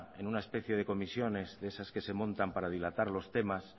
en una especie de comisiones de esas que se montan para dilatar los temas